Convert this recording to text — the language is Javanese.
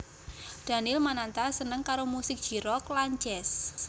Daniel Mananta seneng karo musik J Rock lan Jazz